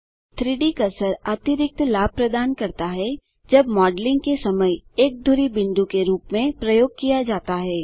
3Dकर्सर अतिरिक्त लाभ प्रदान करता है जब मॉडलिंग के समय एक धुरी बिंदु के रूप में प्रयोग किया जाता है